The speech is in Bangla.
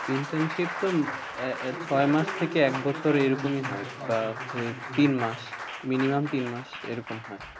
Internship তো, আহ ছয় মাস থেকে এক বছর এরকমই হয়, বা তিন মাস minimum তিন মাস, এরকম হয়।